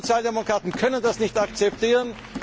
Wir Sozialdemokraten können das nicht akzeptieren.